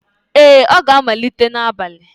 Ee, ọ ga-amalite n'abalị